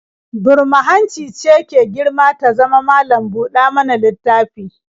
Burma-hanci ce ke girma ta zama malam-buɗa-mana-littafi